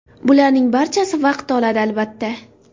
Bularning barchasi vaqt oladi, albatta.